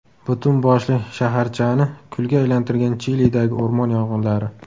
Butun boshli shaharchani kulga aylantirgan Chilidagi o‘rmon yong‘inlari.